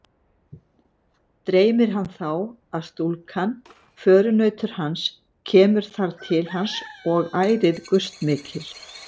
Dreymir hann þá, að stúlkan, förunautur hans, kemur þar til hans og ærið gustmikil.